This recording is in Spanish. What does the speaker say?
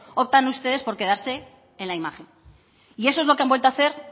optan ustedes por quedarse en la imagen y eso es lo que han vuelto a hacer